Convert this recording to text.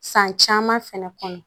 San caman fɛnɛ kɔnɔ